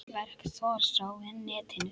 Verk Thors á netinu